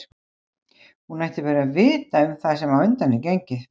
Hún ætti bara að vita um það sem á undan er gengið.